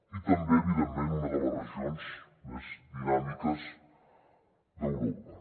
i també evidentment una de les regions més dinàmiques d’europa